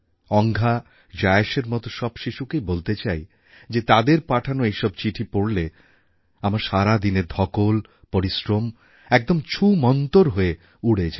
অঙ্ঘা জায়েশের মত সব শিশুকেই বলতে চাই যে তাদের পাঠানো এই সব চিঠি পড়লে আমার সারা দিনের ধকল পরিশ্রম একদম ছুমন্তর হয়ে উড়ে যায়